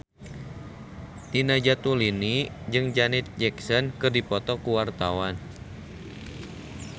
Nina Zatulini jeung Janet Jackson keur dipoto ku wartawan